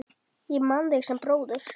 Ég man þig sem bróður.